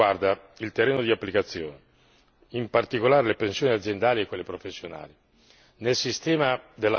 La ragione della mia condivisione riguarda il terreno di applicazione, in particolare le pensioni aziendali e quelle professionali.